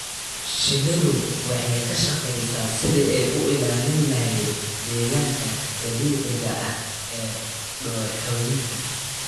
Shinnidu waxay ka shaqeysaa sidii ay u ilaalin lahayd deegaanka dabiiciga ah ee dooxooyinka.